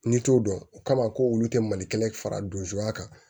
N'i t'o dɔn o kama ko olu tɛ mali kelen fara don zokuma kan